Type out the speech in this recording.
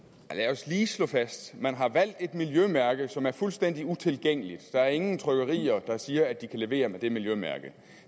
os lige slå fast at man har valgt et miljømærke som er fuldstændig utilgængeligt der er ingen trykkerier der siger at de kan levere med det miljømærke